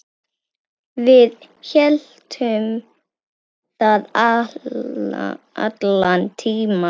Við héldum það allan tímann.